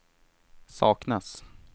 saknas